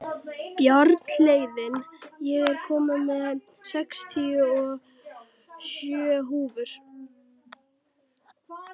Bjarnhéðinn, ég kom með sextíu og sjö húfur!